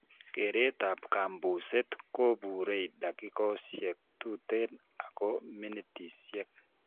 Kereet ab kabuseet kobuure dakikosiek tuten ako minitisiek